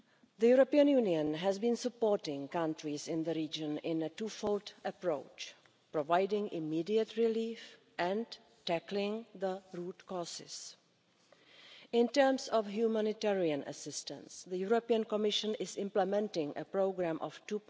The European Union has been supporting countries in the region in a twofold approach, providing immediate relief and tackling the root causes. In terms of humanitarian assistance, the Commission is implementing a program of EUR